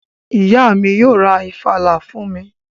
Ìyá mi yóò ra ìfàlà fún mi